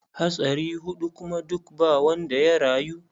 Hatsari huɗu kuma duka ba wanda ya rayu.